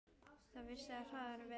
Það vissi á harðan vetur.